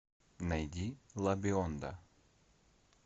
найди ла бионда